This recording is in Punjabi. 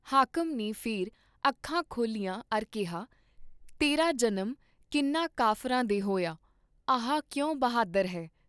ਹਾਕਮ ਨੇ ਫੇਰ ਅੱਖਾਂ ਖੋਲ੍ਹੀਆਂ ਅਰ ਕਿਹਾ ' ਤੇਰਾ ਜਨਮ ਕਿੰਨ੍ਹਾਂ ਕਾਫਰਾਂ ਦੇ ਹੋਯਾ, ਆਹ ਕਿਉਂ ਬਹਾਦਰ ਹੈਂ